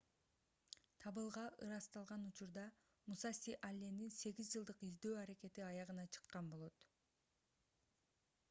табылга ырасталган учурда мусаси аллендин сегиз жылдык издөө аракети аягына чыккан болот